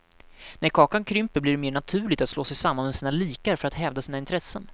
När kakan krymper blir det mer naturligt att slå sig samman med sina likar för att hävda sina intressen.